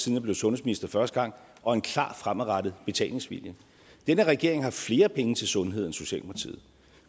jeg blev sundhedsminister første gang og en klar fremadrettet betalingsvilje denne regering har flere penge til sundhed end socialdemokratiet